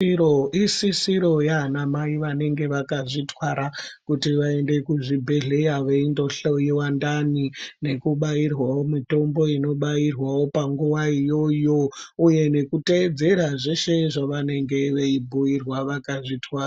Isisiro yanamai vanenge vakazvitwara kuti vaende kuzvibhedhlera veindohloyiwa ndani nekubairwawo mitombo inobairwawo panguwa iyoyo uye nekuteedzera zveshe zvavanenge veibhuyirwa vakazvitwara.